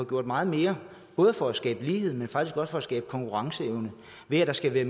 gjort meget mere både for at skabe lighed men faktisk også for at skabe konkurrenceevne ved at der skal være